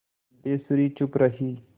सिद्धेश्वरी चुप रही